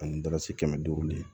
Ani dara kɛmɛ duuru lo